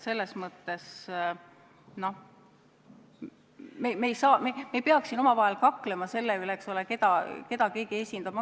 Me ei tohiks siin omavahel kakelda, küsides, keda keegi esindab.